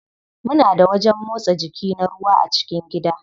Muna da wajen motsa jiki na ruwa a cikin gida.